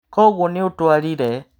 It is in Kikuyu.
Koguo nĩũtwarire.